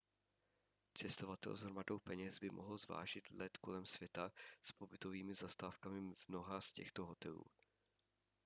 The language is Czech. cestovatel s hromadou peněz by mohl zvážit let kolem světa s pobytovými zastávkami v mnoha z těchto hotelů